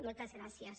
moltes gràcies